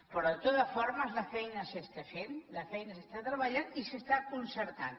però de totes formes la feina s’està fent la feina s’està treballant i s’està concertant